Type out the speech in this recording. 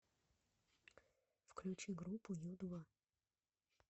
включи группу ю два